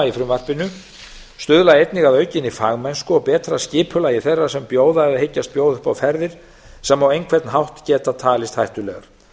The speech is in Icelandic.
í frumvarpinu stuðla einnig að aukinni fagmennsku og betra skipulagi þeirra sem bjóða eða hyggjast bjóða upp á ferðir sem á engan hátt geta talist hættulegar